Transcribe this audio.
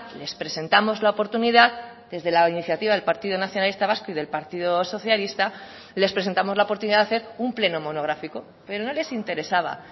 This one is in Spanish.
les presentamos la oportunidad desde la iniciativa del partido nacionalista vasco y del partido socialista les presentamos la oportunidad de hacer un pleno monográfico pero no les interesaba